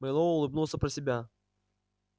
мэллоу улыбнулся про себя